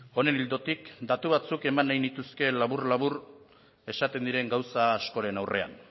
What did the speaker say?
honen ildotik datu batzuk eman nahi nituzke labur labur esaten diren gauza askoren aurrean